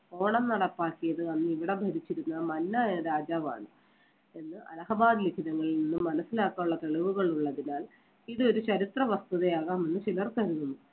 ഓണം നടപ്പാക്കിയത് അന്ന് ഇവിടെ ഭരിച്ചിരുന്ന മന്ന എന്ന രാജാവാണ് എന്ന് അലഹബാദ് നിന്നും മനസ്സിലാക്കാനുള്ള തെളിവുകൾ ഉള്ളതിനാൽ ഇത് ഒരു ചരിത്രവസ്തുതയാകാം എന്ന് ചിലർ കരുതുന്നു.